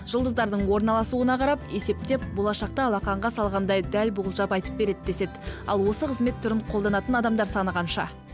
жұлдыздардың орналасуына қарап есептеп болашақта алақанға салғандай дәл болжап айтып береді деседі ал осы қызмет түрін қолданатын адамдар саны қанша